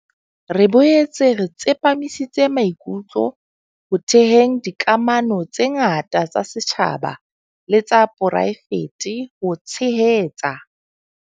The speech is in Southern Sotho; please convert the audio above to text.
Re boetse re tsepamisitse maikutlo ho theheng dikamano tse ngata tsa setjhaba le tsa poraefete ho tshehetsa.